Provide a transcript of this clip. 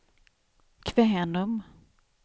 Kvänum